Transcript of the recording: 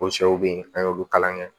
O sɛw be yen an y'olu kalan kɛ